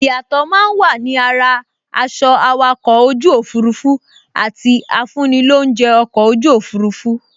Ìyàtọ̀ máa n wà ni ara aṣọ awakọ̀ ojú òfurufú àti afúnilóunjẹ́ ọkọ̀ ojú òfurufú